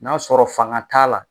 N'a sɔrɔ fanga t'a la